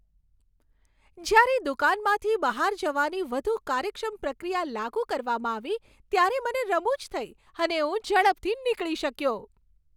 જ્યારે દુકાનમાંથી બહાર જવાની વધુ કાર્યક્ષમ પ્રક્રિયા લાગુ કરવામાં આવી ત્યારે મને રમુજ થઈ અને હું ઝડપથી નીકળી શક્યો.